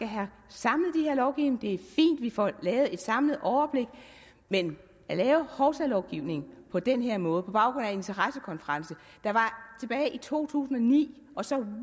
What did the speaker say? have samlet den her lovgivning og det er fint vi får et samlet overblik men at lave hovsalovgivning på den her måde på baggrund af en interessekonference der var tilbage i to tusind og ni og så